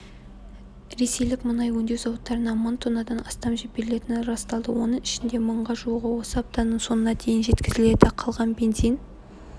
ресейлік мұнай өңдеу зауыттарынан мың тоннадан астам жіберілетіні расталды оның ішінде мыңға жуығы осы аптаның соңына дейін жеткізіледі қалған бензин